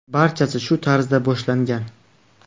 Barchasi shu tarzda boshlangan.